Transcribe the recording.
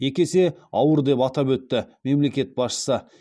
екі есе ауыр деп атап өтті мемлекет басшысы